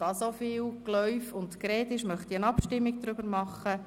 Da so viel Geläuf und Gerede stattfindet, möchte ich eine Abstimmung durchführen.